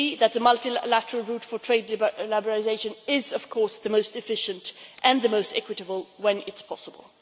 We agree that the multilateral route for trade liberalisation is of course the most efficient and the most equitable, when it is possible.